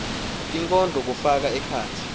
tinkondlo kufaka ekhatsi